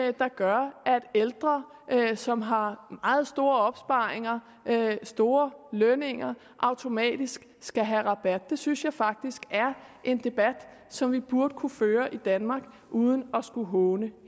er der gør at ældre som har meget store opsparinger og store lønninger automatisk skal have rabat det synes jeg faktisk er en debat som vi burde kunne føre i danmark uden at skulle håne